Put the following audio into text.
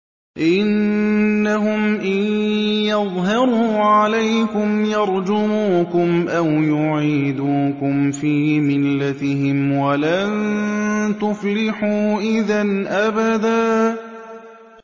إِنَّهُمْ إِن يَظْهَرُوا عَلَيْكُمْ يَرْجُمُوكُمْ أَوْ يُعِيدُوكُمْ فِي مِلَّتِهِمْ وَلَن تُفْلِحُوا إِذًا أَبَدًا